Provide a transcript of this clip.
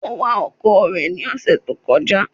Ó ń wa ọkọ̀ rẹ̀ ní ọ̀sẹ̀ tó kọjá.